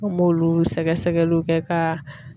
An b'olu sɛgɛ sɛgɛliw kɛ ka.